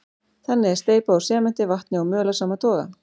Þannig er steypa úr sementi, vatni og möl af sama toga.